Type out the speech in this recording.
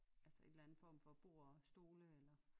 Altså et eller andet form for bord og stole eller